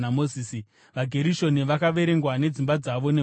VaGerishoni vakaverengwa nedzimba dzavo nemhuri dzavo.